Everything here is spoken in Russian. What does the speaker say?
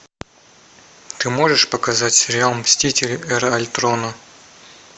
ты можешь показать сериал мстители эра альтрона